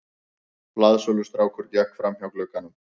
Blaðsölustrákur gekk framhjá glugganum.